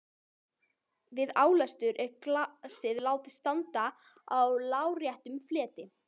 Við álestur er glasið látið standa á láréttum fleti.